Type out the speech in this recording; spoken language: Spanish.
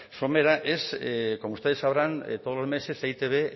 somera es como ustedes sabrán todos los meses e i te be